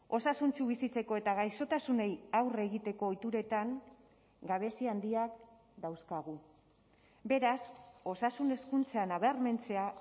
osasuntsu bizitzeko eta gaixotasunei aurre egiteko ohituretan gabezi handiak dauzkagu beraz osasun hezkuntza nabarmentzea